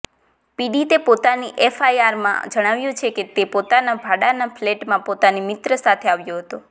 પીડિતે પોતાની એફઆઈઆરમાં જણાવ્યું છે કે તે પોતાના ભાડાના ફલેટમાં પોતાની મિત્ર સાથે આવ્યો હતો